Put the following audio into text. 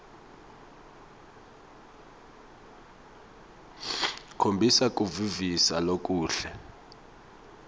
khombisa kuvisisa lokuhle